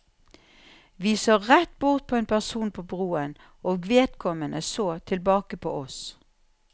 Vi så rett bort på en person på broen, og vedkommende så tilbake på oss.